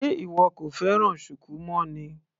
Sé ìwọ kò fẹ́ràn shuku mọ́ ni.